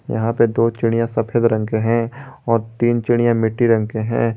यहां पे दो चिड़ियां सफेद रंग के है और तीन चिड़ियां मिट्टी रंग के हैं।